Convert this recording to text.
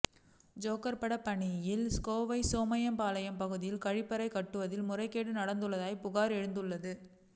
joker பட பாணியில் கோவை சோமையம்பாளையம் பகுதியில் கழிப்பறை கட்டுவதில் முறைகேடு நடந்துள்ளதாக புகார் எழுந்துள்ளது